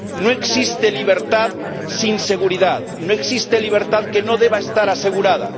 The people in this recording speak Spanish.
No existe libertad sin seguridad, no existe libertad que no deba estar asegurada.